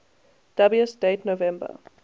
dubious date november